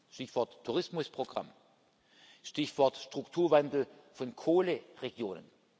Stichwort Tourismusprogramm, Stichwort Strukturwandel von Kohleregionen.